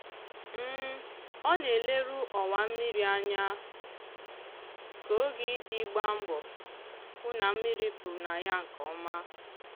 ọ na-eleru ọwa mmiri anya ka oge iji gba mbọ hụ na mmiri pụrụ na ya nke ọma.